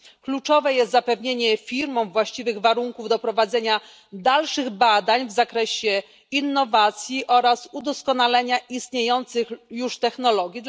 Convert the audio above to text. Kluczowe jest zapewnienie firmom właściwych warunków do prowadzenia dalszych badań w zakresie innowacji oraz udoskonalenia istniejących już technologii.